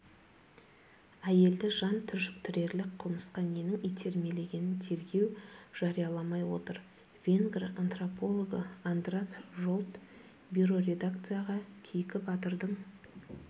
әйелді жан түршіктірерлік қылмысқа ненің итермелегенін тергеу жарияламай отыр венгр антропологы андраш жолт бироредакцияға кейкі батырдың